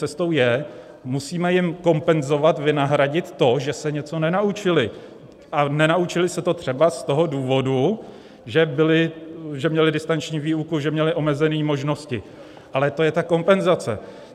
Cestou je: musíme jim kompenzovat, vynahradit to, že se něco nenaučili, a nenaučili se to třeba z toho důvodu, že měli distanční výuku, že měli omezené možnosti, ale to je ta kompenzace.